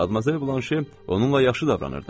Madmazel Vonşi onunla yaxşı davranırdı.